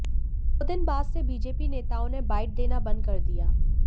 दो दिन बाद से बीजेपी नेताओ ने बाइट देना बंद कर दिया